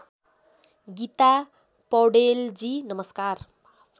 गीता पौडेलजी नमस्कार